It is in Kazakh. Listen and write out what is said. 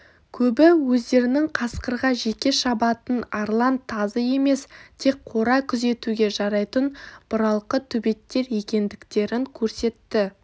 көбі өздерінің қасқырға жеке шабатын арлан тазы емес тек қора күзетуге жарайтын бұралқы төбеттер екендіктерін көрсетті